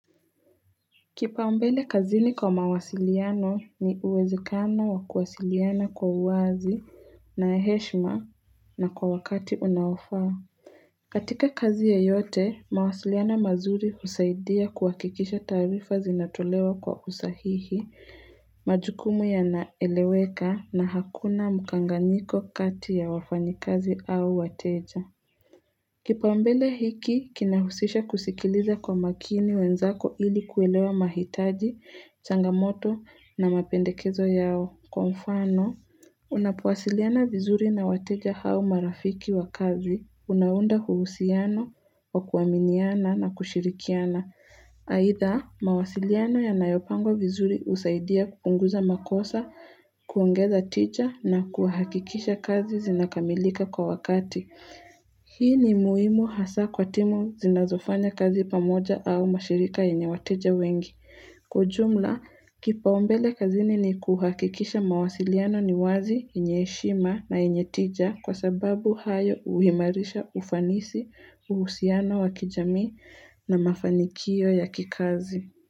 Kipau mbele kazini kwa mawasiliano ni uwezekano wa kuwasiliana kwa uwazi na heshima na kwa wakati unaofaa katika kazi yoyote, mawasiliano mazuri husaidia kuhakikisha taarifa zinatolewa kwa usahihi, majukumu yanaeleweka na hakuna mukanganiko kati ya wafanyikazi au wateja. Kipau mbele hiki, kinahusisha kusikiliza kwa makini wenzako ili kuelewa mahitaji, changamoto na mapendekezo yao. Kwa mfano, unapowasiliana vizuri na wateja hao marafiki wakazi, unaunda uhusiano wa kuaminiana na kushirikiana. Aidha, mawasiliano yanayopangwa vizuri husaidia kupunguza makosa, kuongeza tija na kuhakikisha kazi zinakamilika kwa wakati. Hii ni muhimu hasa kwa timu zinazofanya kazi pamoja au mashirika yenye wateja wengi. Kwa ujumla, kipaumbele kazini ni kuhakikisha mawasiliano ni wazi yenye heshima na yenye tija kwa sababu hayo huimarisha ufanisi uhusiano wa kijamii na mafanikio ya kikazi.